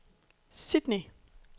Sydney